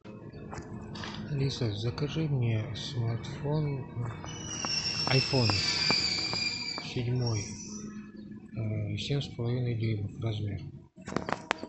алиса закажи мне смартфон айфон седьмой семь с половиной дюймов размер